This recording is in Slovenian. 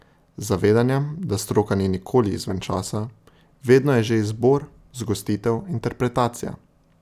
Z zavedanjem, da stroka ni nikoli izven časa, vedno je že izbor, zgostitev, interpretacija.